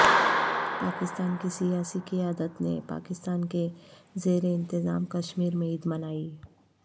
پاکستان کی سیاسی قیادت نے پاکستان کے زیر انتظام کشمیر میں عید منائی